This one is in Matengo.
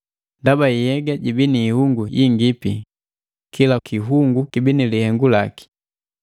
Ndaba nhyega jibii ni hiungu yiingipi kila kihungu kibi na lihengu laki.